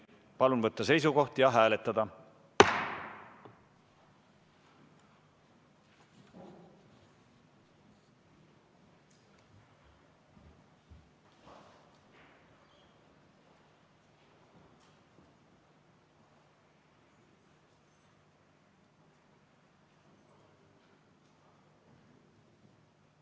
Palun võtta seisukoht ja hääletada!